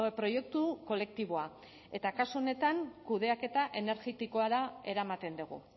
proiektu kolektiboa eta kasu honetan kudeaketa energetikora eramaten dugu